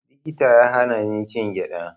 Likita ya hana ni cin gyaɗa